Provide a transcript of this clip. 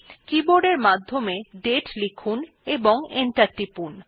keyboard এর মাধ্যমে দাতে লিখুন এবং এন্টার টিপুন